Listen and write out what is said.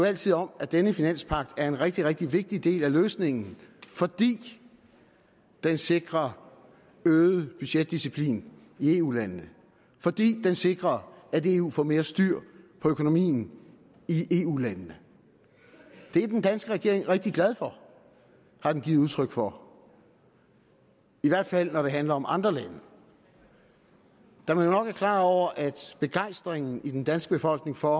altid om at denne finanspagt er en rigtig rigtig vigtig del af løsningen fordi den sikrer øget budgetdisciplin i eu landene fordi den sikrer at eu får mere styr på økonomien i eu landene det er den danske regering rigtig glad for har den givet udtryk for i hvert fald når det handler om andre lande da man jo nok er klar over at begejstringen i den danske befolkning for